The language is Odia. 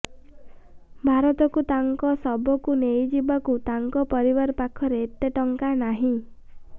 ଭାରତକୁ ତାଙ୍କ ଶବଙ୍କୁ ନେଇଯିବାକୁ ତାଙ୍କ ପରିବାର ପାଖରେ ଏତେ ଟଙ୍କା ନାହିଁ